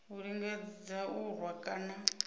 a lingedza u rwa kana